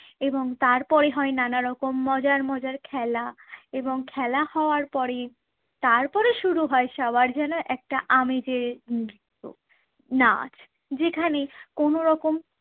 এবং তারপরে হয় নানা রকম মজার মজার খেলা এবং খেলা হওয়ার পরে তারপরে শুরু হয় সবার জন্য একটা আমেজের নৃত্য, নাচ যেখানে কোনো রকম